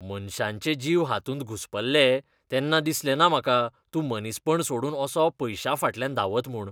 मनशांचे जीव हातूंत घुस्पल्ले तेन्ना दिसलें ना म्हाका तूं मनीसपण सोडून असो पयशांफाटल्यान धांवत म्हूण.